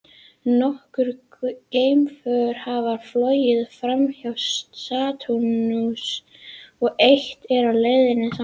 Nokkur geimför hafa flogið framhjá Satúrnusi og eitt er á leið þangað.